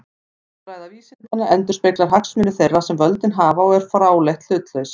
Orðræða vísindanna endurspeglar hagsmuni þeirra sem völdin hafa og er fráleitt hlutlaus.